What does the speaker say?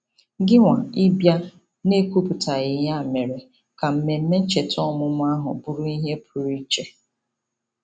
Gịnwa ịbịa n'ekwuputaghị ya mere ka mmemme ncheta ọmụmụ ahụ bụrụ ihe pụrụ iche.